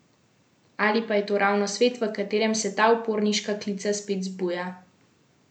Ali pa je to ravno svet, v katerem se ta uporniška klica spet zbuja?